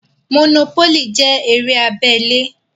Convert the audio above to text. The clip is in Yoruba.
Mònópólì jẹ́ eré abẹ́lé